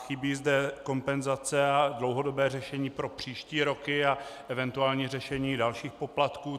Chybí zde kompenzace a dlouhodobé řešení pro příští roky a eventuální řešení dalších poplatků.